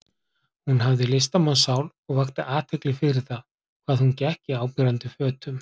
Hún hafði listamannssál og vakti athygli fyrir það hvað hún gekk í áberandi fötum.